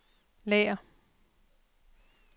lager